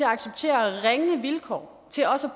at acceptere ringe vilkår til også at